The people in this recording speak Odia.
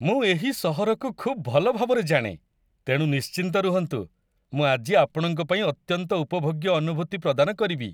ମୁଁ ଏହି ସହରକୁ ଖୁବ୍ ଭଲଭାବରେ ଜାଣେ, ତେଣୁ ନିଶ୍ଚିନ୍ତ ରୁହନ୍ତୁ, ମୁଁ ଆଜି ଆପଣଙ୍କ ପାଇଁ ଅତ୍ୟନ୍ତ ଉପଭୋଗ୍ୟ ଅନୁଭୂତି ପ୍ରଦାନ କରିବି।